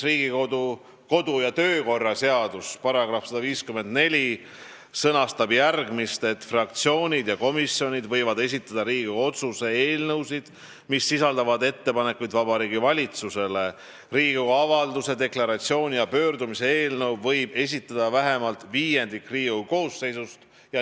Riigikogu kodu- ja töökorra seaduse § 154 sõnastab, et fraktsioonid ja komisjonid võivad esitada Riigikogu otsuse eelnõusid, mis sisaldavad ettepanekuid Vabariigi Valitsusele, ning Riigikogu avalduse, deklaratsiooni ja pöördumise eelnõu võib esitada vähemalt viiendik Riigikogu koosseisust.